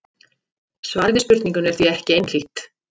Svarið við spurningunni er því ekki einhlítt.